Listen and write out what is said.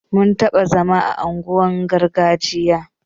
Mun taɓa zama a unguwar gargajiya